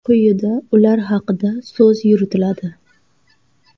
Quyida ular haqida so‘z yuritiladi.